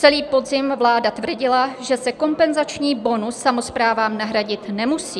Celý podzim vláda tvrdila, že se kompenzační bonus samosprávám nahradit nemusí.